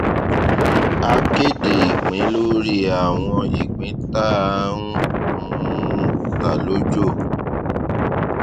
a kéde ìpín lórí àwọn ìpín tá a ń um ta lójò